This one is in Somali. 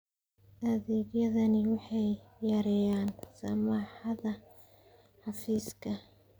Adeegyadani waxay yareeyaan saxmadda xafiiska.